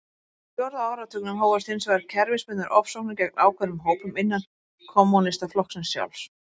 Á fjórða áratugnum hófust hins vegar kerfisbundnar ofsóknir gegn ákveðnum hópum innan kommúnistaflokksins sjálfs.